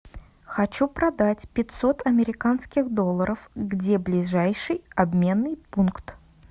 хочу продать пятьсот американских долларов где ближайший обменный пункт